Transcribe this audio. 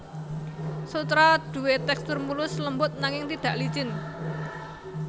Sutra duwé tèkstur mulus lembut nanging tidak licin